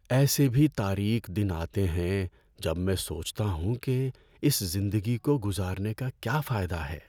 ایسے بھی تاریک دن آتے ہیں جب میں سوچتا ہوں کہ اس زندگی کو گزارنے کا کیا فائدہ ہے؟